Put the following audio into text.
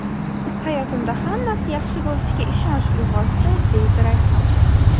Hayotimda hammasi yaxshi bo‘lishiga ishonch uyg‘otdi”, deydi Rayhon.